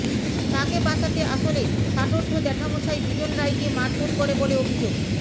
তাকে বাঁচাতে আসলে ষাটোর্ধ্ব জ্যাঠামশাই বিজন রায় কে মারধর করে বলে অভিযোগ